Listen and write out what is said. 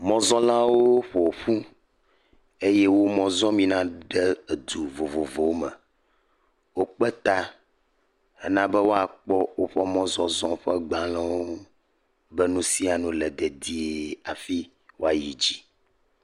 Mɔzɔlawo ƒo ƒu eye wo mɔ zɔm yina ɖe edu vovovowo, wokpe ta hafi bena woakpɔ woƒe mɔzɔzɔ ƒe gbalẽwo be nu sia nu le dedie hafi woayi dzi.